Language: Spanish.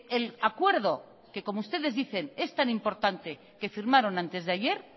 el acuerdo que como ustedes dicen es tan importante que firmaron antes de ayer